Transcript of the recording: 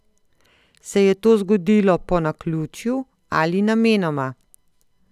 Se je to zgodilo po naključju ali namenoma?